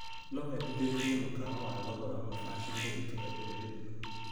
No wendithĩrĩrie mũkawa wa thogora mũbacĩrĩre itũra-inĩ rĩrĩ?